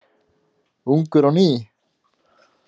Ungur á ný.